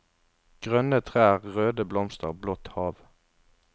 Grønne trær, røde blomster, blått hav.